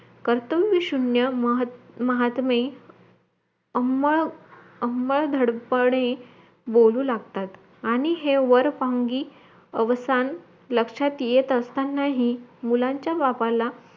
कर्तव्य शून्य महत महात्मे आम्हा आम्हा धडपणे बोलू लागतात आणि हे वरपांगी अवसन लक्षात येत असतानाही मुलांच्या बापाला